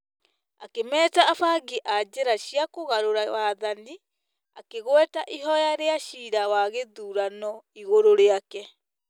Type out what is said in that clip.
Akĩmeeta “abangi a njĩra cia kũgarũra wathani". Akĩgweta ihoya rĩa ciira wa gĩthurano igũrũ rĩake